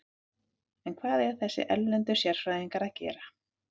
En hvað eiga þessir erlendu sérfræðingar að gera?